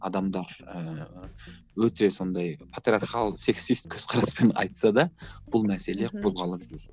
адамдар ііі өте сондай патриархал сексист көзқараспен айтса да бұл мәселе қозғалып жүр